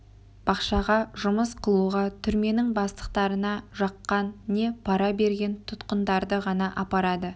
бақшаға жұмыс қылуға түрменің бастықтарына жаққан не пара берген тұтқындарды ғана апарады